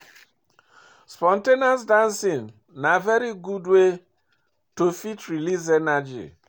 Spon ten ous dancing na very good wey to fit release energy